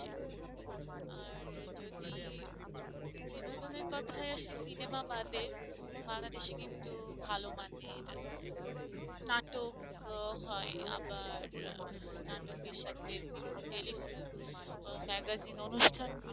বিনোদনের কথায় আসি সিনেমা বাদে বাংলাদেশে কিন্তু ভালো মানের নাটক হয় আবার নাটকের সাথে বিভিন্ন telefilm magazine অনুষ্ঠান গুলো